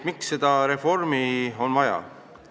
Miks seda reformi on vaja?